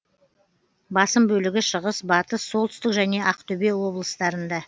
басым бөлігі шығыс батыс солтүстік және ақтөбе облыстарында